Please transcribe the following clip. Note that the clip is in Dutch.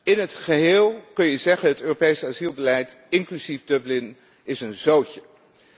In het geheel kun je zeggen dat het Europees asielbeleid, inclusief Dublin, een zootje is.